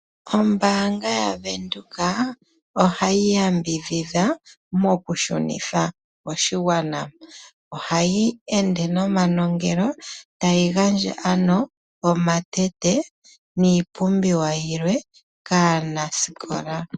Ombaanga yavenduka ohayi yambidhidha mokushunitha koshigwana. Ohayi ende nomanongelo tayi gandja ano omatete niipumbiwa yilwe kaanasikola.